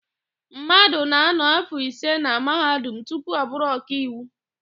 Mmadụ ga-ánọ̀ áfọ̀ ise na Mahadum tupu ọ bụrụ ọkaiwu.